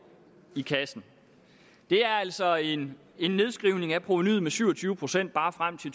i kassen det er altså en en nedskrivning af provenuet med syv og tyve procent bare frem til